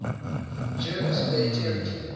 jervis bay territory